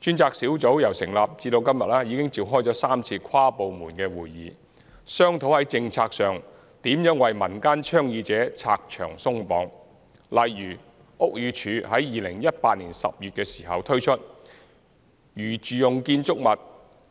專責小組由成立至今，已召開了3次跨部門會議，商討在政策上如何為民間倡議者拆牆鬆綁，例如屋宇署在2018年10月時推出的《在住用建築物